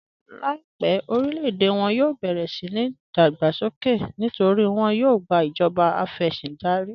Láìpẹ̀ orílẹ̀-èdè wọn yóò bẹ̀rẹ̀ síni ìdágbàsókè nítorí wọn yóò gbà ìjọba afẹ̀sìndárí.